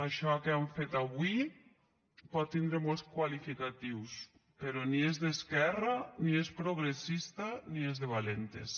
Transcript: això que han fet avui pot tindre molts qualificatius però ni és d’esquerra ni és progressista ni és de valentes